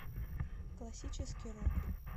классический рок